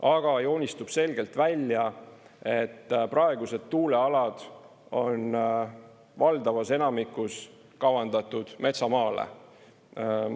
Aga joonistub selgelt välja, et praegused tuulealad on valdavas enamikus kavandatud metsamaale.